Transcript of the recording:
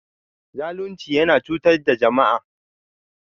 Zalunci yana cutar da jama'a.